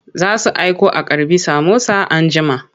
Za su aiko a karɓi samosa anjima.